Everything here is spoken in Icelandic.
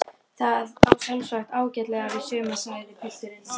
Hver er helsti akkilesarhæll liðsins?